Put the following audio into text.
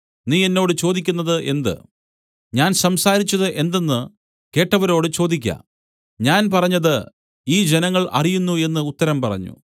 നീ എന്നോട് ചോദിക്കുന്നത് എന്ത് ഞാൻ സംസാരിച്ചത് എന്തെന്ന് കേട്ടവരോട് ചോദിക്ക ഞാൻ പറഞ്ഞത് ഈ ജനങ്ങൾ അറിയുന്നു എന്നു ഉത്തരം പറഞ്ഞു